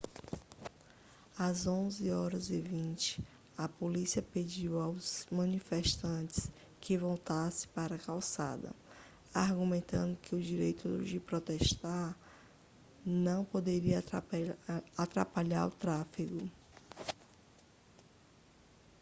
às 11:20 a polícia pediu aos manifestantes que voltassem para a calçada argumentando que o direito de protestar não poderia atrapalhar o tráfego